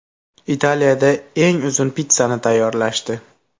Italiyada eng uzun pitssani tayyorlashdi.